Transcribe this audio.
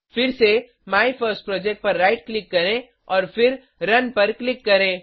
फिर से माइफर्स्टप्रोजेक्ट पर राइट क्लिक करें और फिर रुन पर क्लिक करें